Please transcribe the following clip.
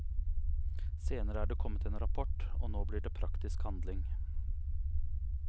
Senere er det kommet en rapport, og nå blir det praktisk handling.